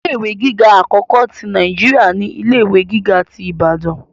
Ilé ìwé gíga akọkọ ti Naijiria ni ilé ìwé gíga tí Ìbàdàn.